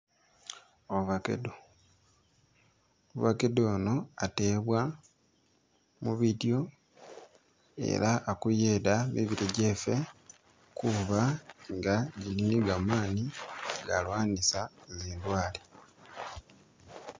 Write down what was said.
Ovacado, ovacado ono atebwa mubidyo ela akuyeda mibili kyeffe kuba nga gili ni gamani ga lwanisa zindwale